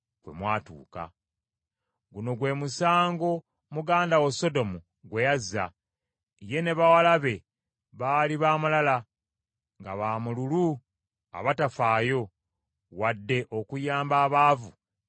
“ ‘Guno gwe musango muganda wo Sodomu gwe yazza: ye ne bawala be baali baamalala, nga baamululu abatafaayo, wadde okuyamba abaavu abaali mu bwetaavu.